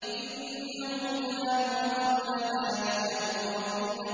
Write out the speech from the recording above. إِنَّهُمْ كَانُوا قَبْلَ ذَٰلِكَ مُتْرَفِينَ